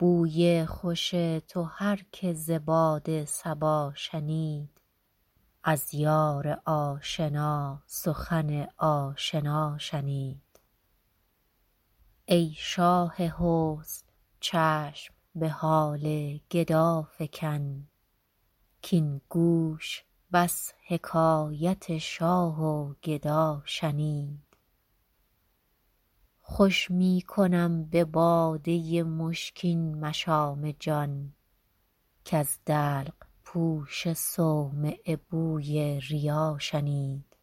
بوی خوش تو هر که ز باد صبا شنید از یار آشنا سخن آشنا شنید ای شاه حسن چشم به حال گدا فکن کـاین گوش بس حکایت شاه و گدا شنید خوش می کنم به باده مشکین مشام جان کز دلق پوش صومعه بوی ریا شنید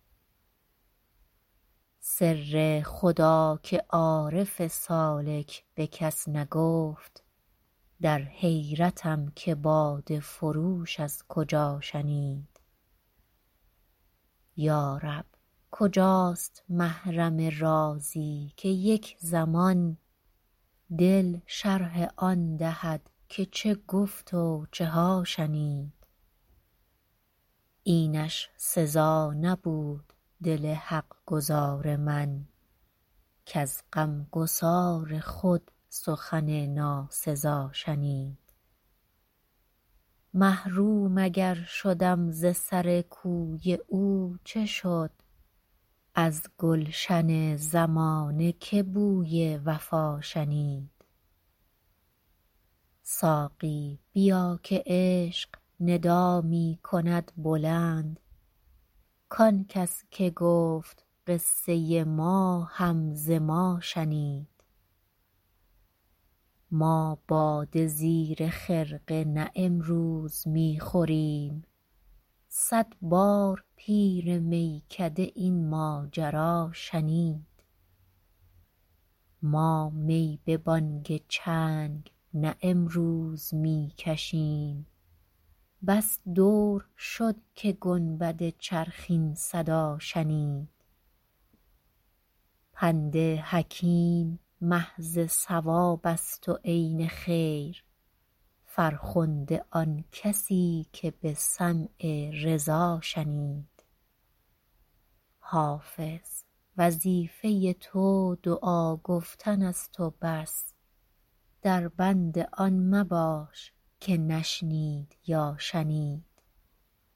سر خدا که عارف سالک به کس نگفت در حیرتم که باده فروش از کجا شنید یا رب کجاست محرم رازی که یک زمان دل شرح آن دهد که چه گفت و چه ها شنید اینش سزا نبود دل حق گزار من کز غمگسار خود سخن ناسزا شنید محروم اگر شدم ز سر کوی او چه شد از گلشن زمانه که بوی وفا شنید ساقی بیا که عشق ندا می کند بلند کان کس که گفت قصه ما هم ز ما شنید ما باده زیر خرقه نه امروز می خوریم صد بار پیر میکده این ماجرا شنید ما می به بانگ چنگ نه امروز می کشیم بس دور شد که گنبد چرخ این صدا شنید پند حکیم محض صواب است و عین خیر فرخنده آن کسی که به سمع رضا شنید حافظ وظیفه تو دعا گفتن است و بس در بند آن مباش که نشنید یا شنید